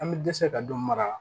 An bɛ dɛsɛ ka dɔ mara